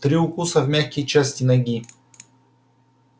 три укуса в мягкие части ноги